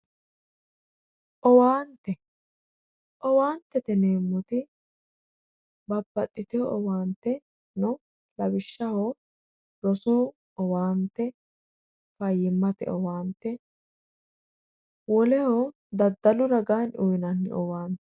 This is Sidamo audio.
Owaante owaantete yineemmoti babbaxitino owaante no lawishshaho rosu owaante fayyimate owaante woleho daddalu raganni uyinanni owaante.